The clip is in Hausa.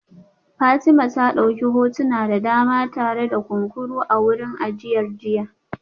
Fatima ta dauki hotuna da dama tare da kunkuru a wurin ajiyar jiya